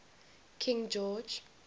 king george